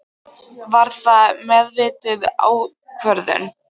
Var það meðvituð ákvörðun?